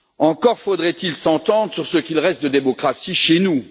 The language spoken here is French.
Encore faudrait il s'entendre sur ce qu'il reste de démocratie chez nous.